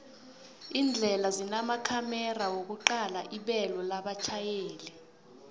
indlela zinamakhomera wokuqala ibelo labatjhayeli